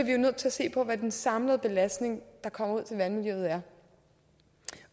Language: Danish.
jo nødt til at se på hvad den samlede belastning der kommer ud til vandmiljøet er